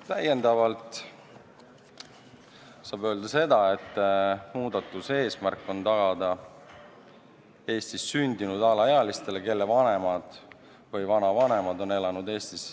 " Täiendavalt saab öelda seda, et muudatuse eesmärk on tagada Eestis sündinud alaealistele, kelle vanemad või vanavanemad on elanud Eestis